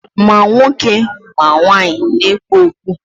Ma nwoke ma nwanyị na-ekpu okpu.